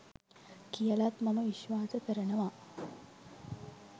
කියලත් මම විශ්වාස කරනවා